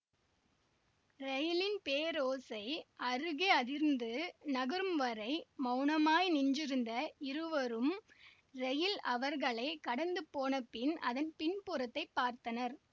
ரயிலின் பேரோசை அருகே அதிர்ந்து நகரும்வரை மௌனமாய் நின்றிருந்த இருவரும் ரயில் அவர்களை கடந்து போனபின் அதன் பின்புறத்தைப் பார்த்தனர்